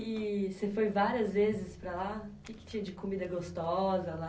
E você foi várias vezes para lá? Que que tinha de comida gostosa, lá